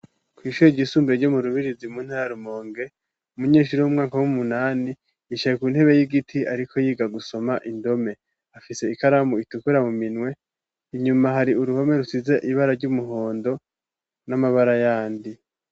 kw'ishure ryisumbuye ryo mu Rubirizi mu ntara ya Rumonge, umunyeshuri wo mu mwaka w'umunani yishaye ku ntebe y'igiti ariko yiga gusoma indome. Afise ikaramu itukura mu minwe, inyuma hari uruhome rusize ibara ry'umuhondo n'amabara yandi.